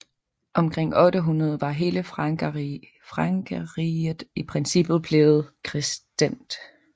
Omkring 800 var hele Frankerriget i princippet blevet kristent